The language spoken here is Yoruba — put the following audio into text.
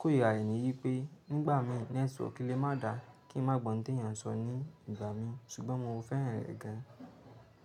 kó ìrirarè ní wí pé nígbà mí nẹ́tíwọ̀kì lè má da kí n má gbọ̀n tí èèyàn sọ ní ìgbà mí, ṣùgbọ́n mo fẹ́ràn rẹ̀ gan.